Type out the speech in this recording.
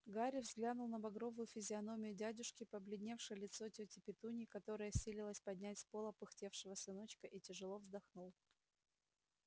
гарри взглянул на багровую физиономию дядюшки побледневшее лицо тёти петуньи которая силилась поднять с пола пыхтевшего сыночка и тяжело вздохнул